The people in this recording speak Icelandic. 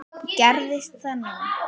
Gerðist það núna?